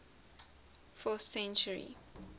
fourth century